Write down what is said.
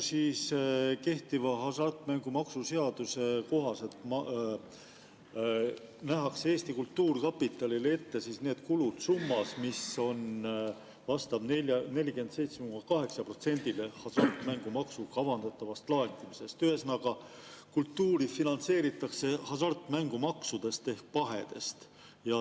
Kehtiva hasartmängumaksu seaduse kohaselt nähakse Eesti Kultuurkapitalile ette kulud summas, mis vastab 47,8%‑le hasartmängumaksu kavandatavast laekumisest, ühesõnaga, kultuuri finantseeritakse hasartmängust ehk pahest.